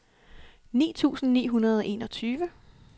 ni tusind ni hundrede og enogtyve